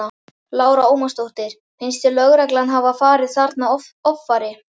Lára Ómarsdóttir: Finnst þér lögreglan hafa farið þarna offari?